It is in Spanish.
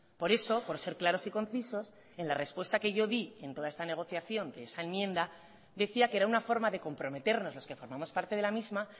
por eso por ser claros y concisos en la respuesta que yo di en toda esta negociación de esa enmienda decía que era una forma de comprometernos los que formamos parte de la misma